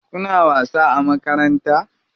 Kuna wasa a makaranta?